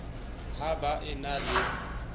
ha ba e na le